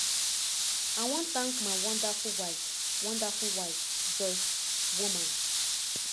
i wan tank my wonderful wife wonderful wife joyce woman